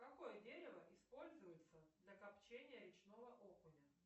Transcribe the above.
какое дерево используется для копчения речного окуня